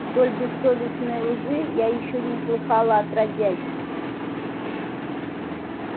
столь бессовестной лжи я ещё не слыхала отродясь